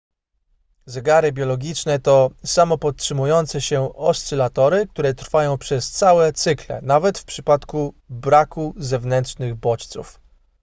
zegary biologiczne to samopodtrzymujące się oscylatory które trwają przez całe cykle nawet w przypadku braku zewnętrznych bodźców